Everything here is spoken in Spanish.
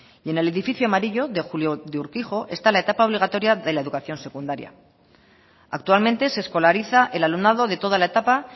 y en el edifico amarillo de julio de urquijo está la etapa obligatoria de la educación secundaria actualmente se escolariza el alumnado de toda la etapa